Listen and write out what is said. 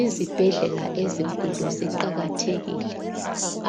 Izibhedlela ezinkulu ziqakathekile.